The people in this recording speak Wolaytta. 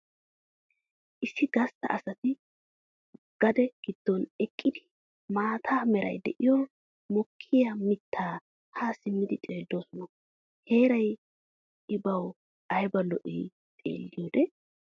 Issi gastta asati gade giddon eqqidi maata meray de'iyo mokkiya mitta ha simmidi xeelloosona heeray I bawu ayba lo'ii! Xeeliyode.